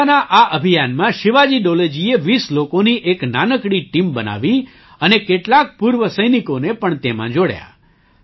પોતાના આ અભિયાનમાં શિવાજી ડોલેજીએ 20 લોકોની એક નાનકડી ટીમ બનાવી અને કેટલાક પૂર્વ સૈનિકોને પણ તેમાં જોડ્યા